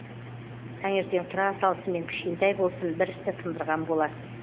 таңертең тұра салысымен кішкентай болсын бір істі тындырған боласыз